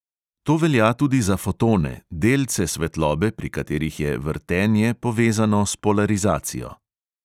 To velja tudi za fotone, "delce" svetlobe, pri katerih je "vrtenje" povezano s polarizacijo.